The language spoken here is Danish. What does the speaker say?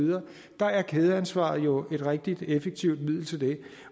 der er et kædeansvar jo et rigtig effektivt middel til det